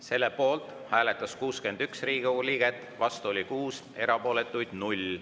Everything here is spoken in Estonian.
Selle poolt hääletas 61 Riigikogu liiget, vastu oli 6, erapooletuid 0.